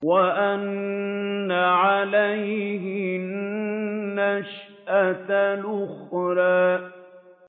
وَأَنَّ عَلَيْهِ النَّشْأَةَ الْأُخْرَىٰ